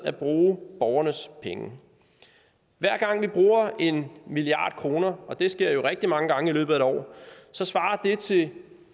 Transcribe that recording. at bruge borgernes penge hver gang vi bruger en milliard kr og det sker jo rigtig mange gange i løbet af et år så svarer det til